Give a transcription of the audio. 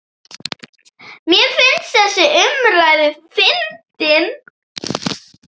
Mér finnst þessi umræða fyndin.